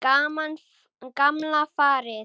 Gamla farið.